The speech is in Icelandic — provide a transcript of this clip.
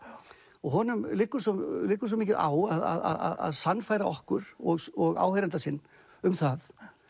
og honum liggur svo liggur svo mikið á að sannfæra okkur og og áheyranda sinn um það